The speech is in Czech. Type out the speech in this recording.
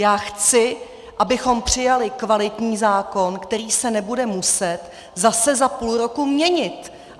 Já chci, abychom přijali kvalitní zákon, který se nebude muset zase za půl roku měnit!